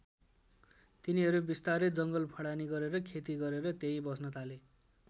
तिनीहरू बिस्तारै जङ्गल फडानी गरेर खेती गरेर त्यही बस्न थाले।